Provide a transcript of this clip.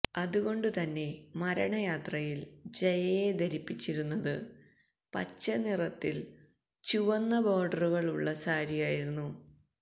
അതുകൊണ്ട് തന്നെ മരണയാത്രയില് ജയയെ ധരിപ്പിച്ചിരുന്നത് പച്ച നിറത്തില് ചുവന്ന ബോഡറുകള് ഉള്ള സാരിയായിരുന്നു